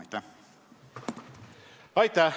Aitäh!